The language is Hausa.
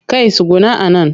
Kai tsuguna a nan!